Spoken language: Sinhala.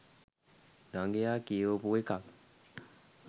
දඟයා කියවපු එකක්